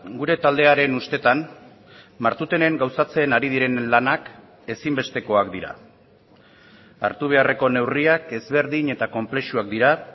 gure taldearen ustetan martutenen gauzatzen ari diren lanak ezinbestekoak dira hartu beharreko neurriak ezberdin eta konplexuak dira